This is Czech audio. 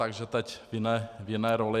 Takže teď v jiné roli.